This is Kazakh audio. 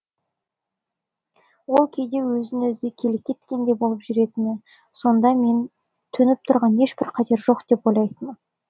ол кейде өзін өзі келеке еткендей боп жүретін сонда мен төніп тұрған ешбір қатер жоқ деп ойлайтынмын